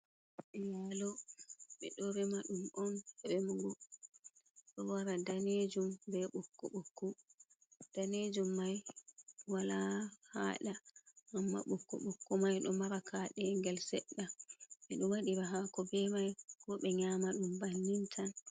Bibbe yalo be do rema dum on remugo do wara danejum be bokko bokko danejum mai wala hada amma bokko bokko mai do mara kade gel sedda be do wadi be hako be mai ko be nyama dum bannin tan.